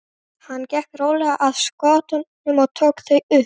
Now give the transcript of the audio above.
Hann gekk rólega að skotunum og tók þau upp.